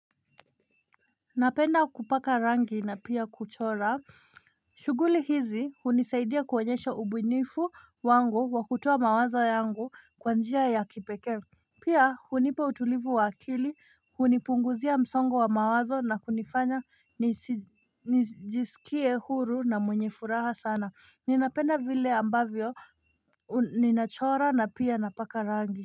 Napenda kupaka rangi na pia kuchora shughuli hizi hunisaidia kuonyesha ubunifu wangu wakutoa mawazo yangu kwa njia ya kipekee Pia hunipa utulivu wa akili, hunipunguzia msongo wa mawazo na kunifanya nijisikie huru na mwenye furaha sana, ninapenda vile ambavyo, ninachora na pia napaka rangi.